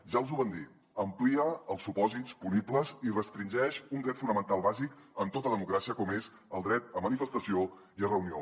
ja els ho vam dir amplia els supòsits punibles i restringeix un dret fonamental bàsic en tota democràcia com és el dret a manifestació i reunió